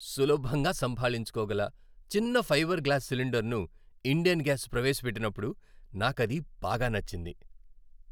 సులభంగా సంభాళించుకోగల చిన్న ఫైబర్ గ్లాస్ సిలిండరును ఇండేన్ గ్యాస్ ప్రవేశపెట్టినప్పుడు నాకది బాగా నచ్చింది.